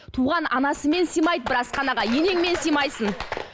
туған анасымен сыймайды бір асханаға енеңмен сыймайсың